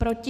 Proti?